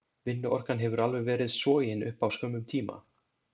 Vinnuorkan hefur alveg verið sogin upp á skömmum tíma.